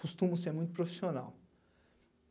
Costumo ser muito profissional.